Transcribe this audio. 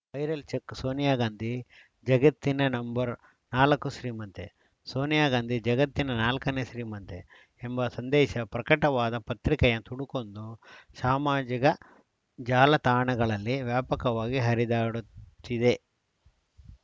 viral check Sonia Gandhi ಜಗತ್ತಿನ ನಂ ನಾಲ್ಕು ಶ್ರೀಮಂತೆ ಸೋನಿಯಾ ಗಾಂಧಿ ಜಗತ್ತಿನ ನಾಲ್ಕ ನೇ ಶ್ರೀಮಂತೆ ಎಂಬ ಸಂದೇಶ ಪ್ರಕಟವಾದ ಪತ್ರಿಕೆಯ ತುಣುಕೊಂದು ಸಾಮಾಜಿಕ ಜಾಲತಾಣಗಳಲ್ಲಿ ವ್ಯಾಪಕವಾಗಿ ಹರಿದಾಡುತ್ತಿದೆ